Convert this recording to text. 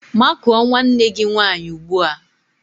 Makụọ nwanne gị nwaanyị ugbua!